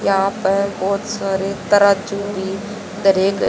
यहां पर बहोत सारे तराजू भी धरे गए --